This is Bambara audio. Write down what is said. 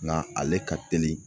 Ŋa ale ka teli